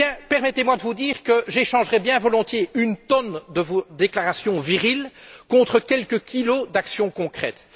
Permettez moi de vous dire que j'échangerais bien volontiers une tonne de vos déclarations viriles contre quelques kilos d'actions concrètes.